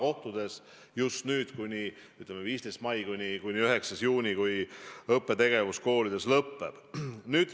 See kestab 15. maist kuni 9. juunini, kui õppetegevus koolides lõpeb.